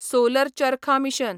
solar charkha mission